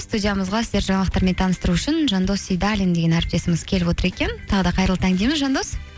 студиямызға сіздерді жаңалықтармен таныстыру үшін жандос сейдаллин деген әріптесіміз келіп отыр екен тағы да қайырлы таң дейміз жандос